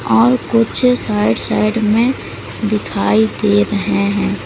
और कुछ side side में दिखाई दे रहे है।